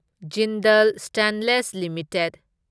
Jindal Stainless limited